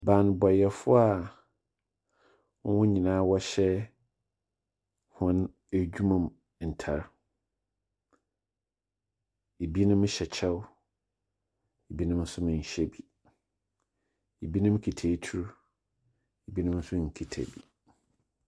Banbɔfo a hɔn nyinaa wɔhyɛ hɔn edwuma mu ntar. Binom hyɛ kyɛw. Binom nso nhyɛ bi. Binom kita atu. Binom nso nkita bi.